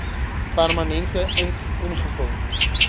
permanente ink ingevul